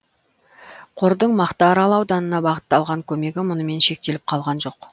қордың мақтаарал ауданына бағыттаған көмегі мұнымен шектеліп қалған жоқ